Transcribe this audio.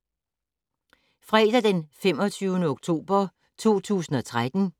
Fredag d. 25. oktober 2013